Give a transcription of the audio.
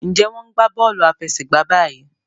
Njé wón gbà Bọ́ọ̀lù àfẹsẹ̀gbá bayi?